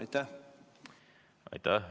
Aitäh!